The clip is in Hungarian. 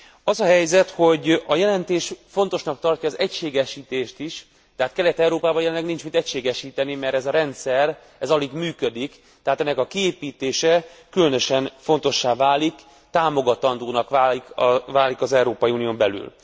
Az a helyzet, hogy a jelentés fontosnak tartja az egységesítést is, de hát Kelet Európában nincs mit egységesíteni, mert ez a rendszer alig működik, tehát ennek a kiépítése különösen fontossá válik, támogatandóvá válik az Európai Unión belül.